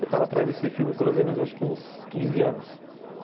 Eu estava atrás desse filme pelo menos acho que uns quinze anos.